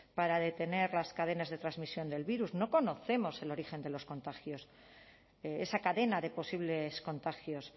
para detener las cadenas de transmisión del virus no conocemos el origen de los contagios esa cadena de posibles contagios